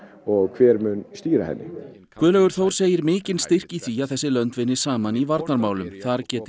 og hver mun stýra henni Guðlaugur Þór segir mikinn styrk í því að þessi lönd vinni saman í varnarmálum þar geti